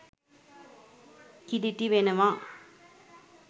කිලිටි වෙනවා.